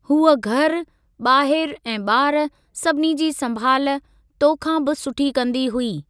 हूअ घर, ॿाहिरि ऐं ॿार सभिनी जी संभाल तो खां बि सुठी कंदी हूंदी।